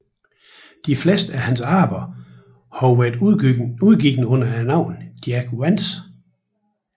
De fleste af hans arbejder har været udgivet under navnet Jack Vance